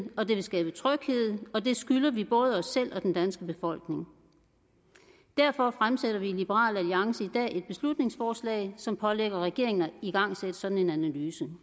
og det vil skabe tryghed og det skylder vi både os selv og den danske befolkning derfor fremsætter vi i liberal alliance et beslutningsforslag som pålægger regeringen at igangsætte sådan en analyse